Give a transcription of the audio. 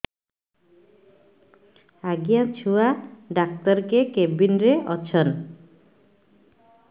ଆଜ୍ଞା ଛୁଆ ଡାକ୍ତର କେ କେବିନ୍ ରେ ଅଛନ୍